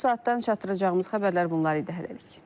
Bu saatdan çatdıracağımız xəbərlər bunlar idi hələlik.